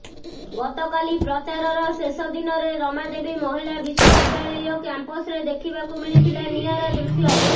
ଗତକାଲି ପ୍ରଚାରର ଶେଷ ଦିନରେ ରମାଦେବୀ ମହିଳା ବିଶ୍ୱବିଦ୍ୟାଳୟ କ୍ୟାମ୍ପସରେ ଦେଖିବାକୁ ମିଳିଥିଲା ନିଆରା ଦୃଶ୍ୟ